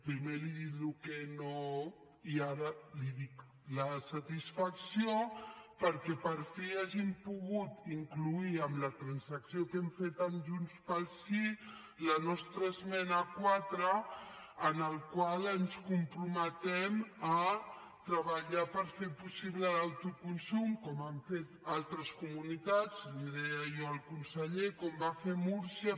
primer li he dit el que no i ara li dic la satisfacció perquè per fi hàgim pogut incloure en la transacció que hem fet amb junts pel sí la nostra esmena quatre en la qual ens comprometem a treballar per fer possible l’autoconsum com han fet altres comunitats ho deia jo al conseller com va fer múrcia